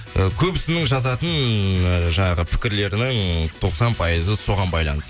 і көбісінің жазатын і жаңағы пікірлерінің тоқсан пайызы соған